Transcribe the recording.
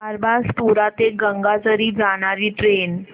बारबासपुरा ते गंगाझरी जाणारी ट्रेन